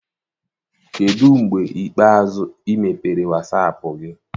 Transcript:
Kedụ mgbe ikpeazụ ị mepere wasaapụ gị?